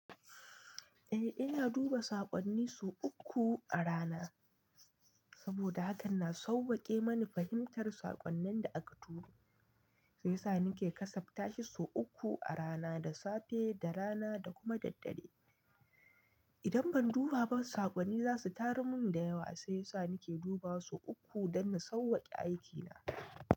Eh, ina duba saƙonni sau uku a rana saboda hakan na sawwaƙe mani fahimtar saƙonnin da aka turo. Sai yasa nake kasaftashi sau uku a rana, da safe, da rana da kuma daddare. Idan ban duba ba, saƙonni za su taru mun da yawa. Sai yasa nake dubawa sau uku don na sawwaƙe aikina.